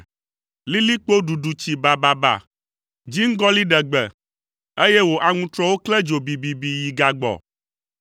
Lilikpo ɖuɖu tsi bababa, dziŋgɔli ɖe gbe, eye wò aŋutrɔwo klẽ dzo bibibi, yi gagbɔ.